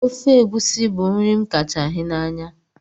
Ofe egusi bu nri m kacha hi n'anya